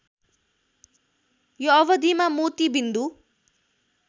यो अवधिमा मोती बिन्दु